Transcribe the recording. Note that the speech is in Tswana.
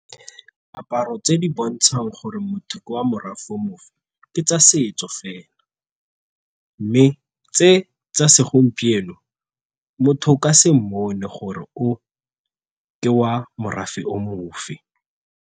Diaparo tse di bontshang gore motho ke wa morafe mofe ke tsa setso fela mme tse tsa segompieno motho o ka se mmone gore o ka wa morafe o mofe.